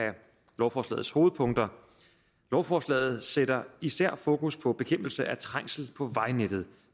lovforslagets hovedpunkter lovforslaget sætter især fokus på bekæmpelse af trængsel på vejnettet